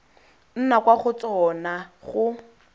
nna kwa go tsona go